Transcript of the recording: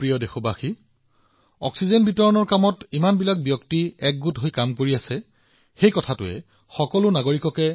মোৰ মৰমৰ দেশবাসীসকল দেশখনত অক্সিজেন বিতৰণৰ বাবে বহুতো প্ৰচেষ্টা কৰা হৈছে ইমান মানুহ একত্ৰিত হৈছে নাগৰিকসকলক অনুপ্ৰাণিত কৰাৰ দৰে এই সকলোবোৰ কাম হৈছে